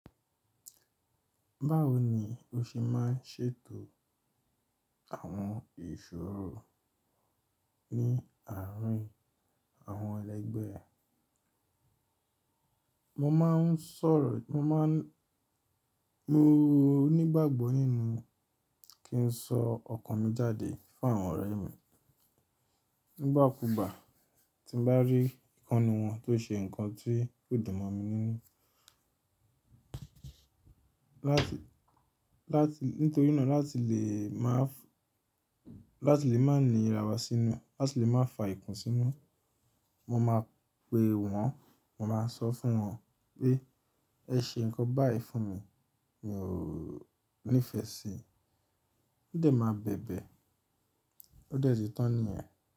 Báwo ni o ṣe máa ń ṣètò àwọn ìṣòro ní àárín àwọn ẹlẹgbẹ́ ẹ? Mo máa ń sọ̀rọ̀, mo máa ń, mo nígbàgbọ́ nínú kí n sọ ọkàn mi jáde fún àwọn ọ̀rẹ́ mi. Nígbà kúùgbà tí mo bá rí ìkàn nu wọn tó ṣe ǹkan tí kò dùn mọ̀ mi nínú. Láti, láti, nítorí náà láti lè máa f, láti lè má ní ra wa sínú, láti lè má fa ikùn sínú, mo máa pe wọn, mo máa sọ fún wọn pé ẹ ṣe ǹkan báyìí fún mi mi ò nífẹ̀ẹ́ sí i. Ó dẹ̀ máa bẹ̀bẹ̀, ó dẹ̀ ti tán nìyẹn.